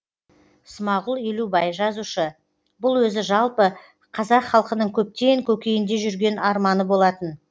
смағұл елубай жазушы бұл өзі жалпы қазақ халқының көптен көкейінде жүрген арманы болатын